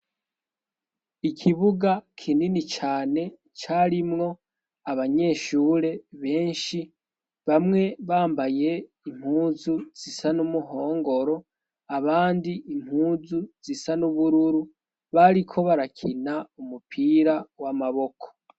Ikibuga kinini cane carimwo abanyeshure benshi bamwe bambaye impuzu zisa n'umuhongoro abandi impuzu zisa n'ubururu bariko barakina umupira w'amaboko.